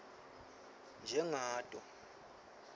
njengato